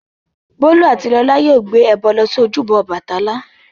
Bólú àti Lọlá yóò gbé ẹbọ lọ sí ojúbọ Ọbàtálá.